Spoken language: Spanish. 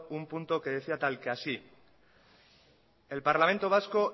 un punto que decía tal que así el parlamento vasco